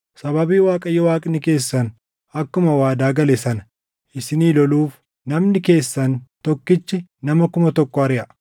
Sababii Waaqayyo Waaqni keessan akkuma waadaa gale sana isinii loluuf namni keessan tokkichi nama kuma tokko ariʼa.